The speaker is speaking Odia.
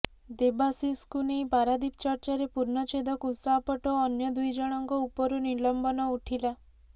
ଦେବାଶିଷଙ୍କୁ ନେଇ ପାରାଦୀପ ଚର୍ଚ୍ଚାରେ ପୂର୍ଣ୍ଣଛେଦ କୁଶ ଆପଟ୍ଟ ଓ ଅନ୍ୟ ଦୁଇଜଣଙ୍କ ଉପରୁ ନିଲମ୍ବନ ଉଠିଲା